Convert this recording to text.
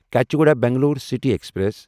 Kacheguda Bangalore city express